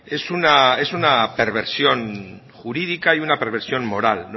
es una es una perversión jurídica y una perversión moral